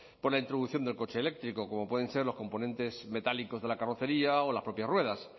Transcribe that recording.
por la introducción del coche eléctrico como pueden ser los componentes metálicos de la carrocería o las propias ruedas